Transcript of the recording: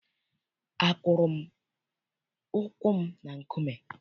Akụrụ m ụkwụ m na nkume.